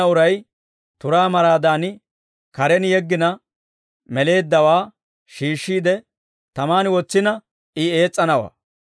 Ta giddon de'enna uray turaa maraadan, karen yeggina meleeddawaa shiishshiide tamaan wotsina, I ees's'anawaa.